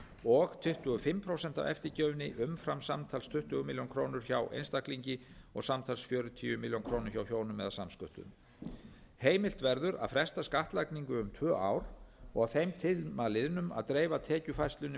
og tuttugu og fimm prósent af eftirgjöfinni umfram samtals tuttugu milljónir króna hjá einstaklingi og samtals fjörutíu milljónir króna hjá hjónum eða samsköttuðum heimilt verður að fresta skattlagningu um tvö ár og að þeim tíma liðnum að dreifa tekjufærslu með